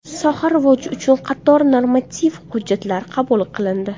Soha rivoji uchun qator normativ hujjatlar qabul qilindi.